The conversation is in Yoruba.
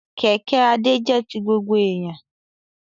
Kẹ̀kẹ́ Adé jẹ́ ti gbogbo èèyàn